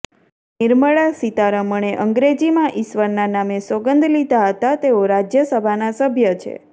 નિર્મળા સીતારમણે અંગ્રેજીમાં ઇશ્વરના નામે સોગંદ લીધા હતાં તેઓ રાજયસભાના સભ્ય છે